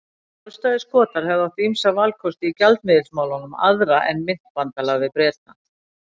Sjálfstæðir Skotar hefðu átt ýmsa valkosti í gjaldmiðilsmálum aðra en myntbandalag við Breta.